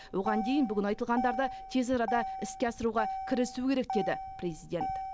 оған дейін бүгін айтылғандарды тез арада іске асыруға кірісу керек деді президент